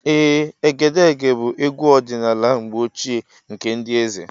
Ee, Egedege bụ egwu ọdịnala mgbe ochie nke ndị eze.